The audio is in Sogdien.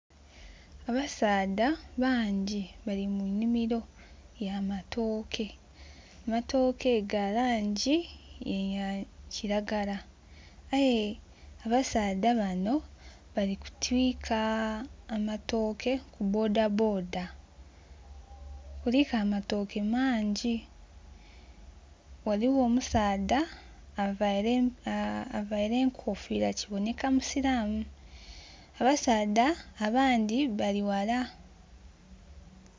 Abasaadha bangi bali mu nhimiro ya matooke, amatooke ga langi ya kiragala. Aye abasaadha bano bali kutwika amatooke ku bodaboda kuliku amatooke mangi. Ghaligho omusaadha aveire enkofira kiboneka musilamu, abasadha abandhi bali ghala.